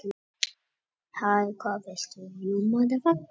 En gæti það sem er til þá verið skapað úr því sem er til?